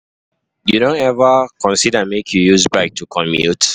you don ever consider make you use bike to commute?